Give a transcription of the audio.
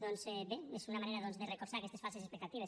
doncs bé és una manera de recolzar aquestes falses expectatives